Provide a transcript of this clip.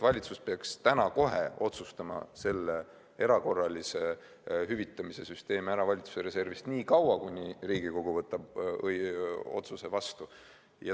Valitsus peaks täna kohe otsustama ära selle valitsuse reservist erakorralise hüvitamise süsteemi nii kauaks, kuni Riigikogu võtab otsuse vastu.